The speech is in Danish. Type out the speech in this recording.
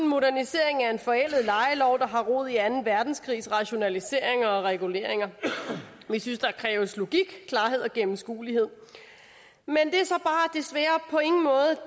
en modernisering af en forældet lejelov der har rod i anden verdenskrigs rationaliseringer og reguleringer vi synes der kræves logik klarhed og gennemskuelighed men